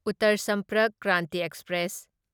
Uttar Sampark Kranti express